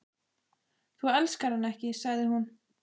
Þú elskar hann ekki, sagði hún.